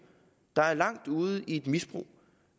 der er langt ude i et misbrug